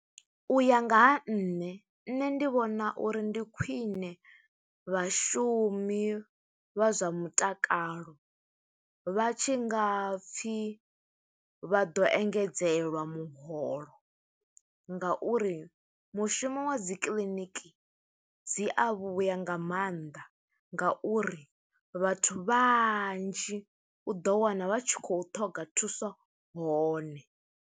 U ya nga ha nṋe nṋe, ndi vhona uri ndi khwiṋe vhashumi vha zwa mutakalo, vha tshi nga pfi vha ḓo engedzelwa muholo, nga uri mushumo wa dzi kiḽiniki, dzi a vhuya nga mannḓa. Nga uri vhathu vhanzhi, u ḓo wana vha tshi khou ṱhoga thuso hone.